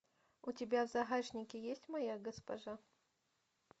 у тебя в загашнике есть моя госпожа